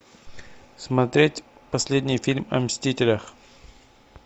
смотреть последний фильм о мстителях